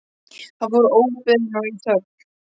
Hann fór óbeðinn og í þögn.